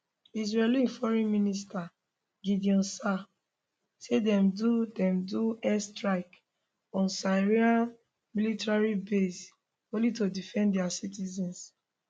israeli foreign minister gideon saar say dem do dem do airstrikes on syria military bases only to defend dia citizens